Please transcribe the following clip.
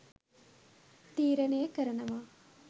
තීරණය කරනවා..